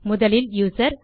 முதலில் யூசர்